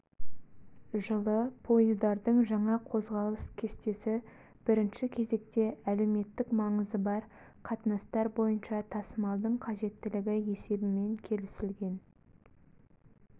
жылы поездардың жаңа қозғалыс кестесі бірінші кезекте әлеуметтік маңызы бар қатынастар бойынша тасымалдың қажеттілігі есебімен келісілген